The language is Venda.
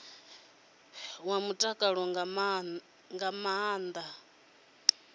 wa mutakalo nga maana vha